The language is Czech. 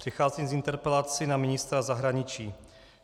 Přicházím s interpelací na ministra zahraničí.